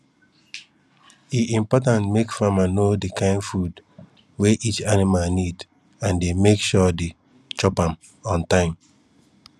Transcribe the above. e important make farmer know the kind food wey each animal need and dey make sure the chop am on time